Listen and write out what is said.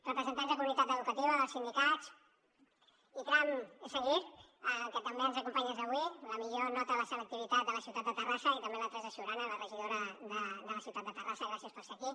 representants de comunitat educativa dels sindicats ikram assaghir que també ens acompanyes avui la millor nota de la selectivitat a la ciutat de terrassa i també la teresa ciurana la regidora de la ciutat de terrassa gràcies per ser aquí